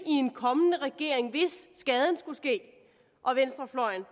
i en kommende regering hvis skaden skulle ske og venstrefløjen